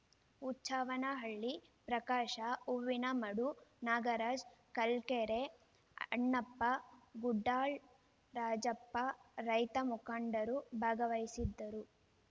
ಹುಚ್ಚವ್ವನಹಳ್ಳಿ ಪ್ರಕಾಶ ಹೂವಿನಮಡು ನಾಗರಾಜ ಕಲ್ಕೆರೆ ಅಣ್ಣಪ್ಪ ಗುಡಾಳ್‌ ರಾಜಪ್ಪ ರೈತ ಮುಖಂಡರು ಭಾಗವಹಿಸಿದ್ದರು